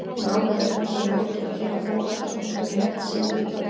Nánar er fjallað um leikina hér á Fótbolta.net síðar í kvöld.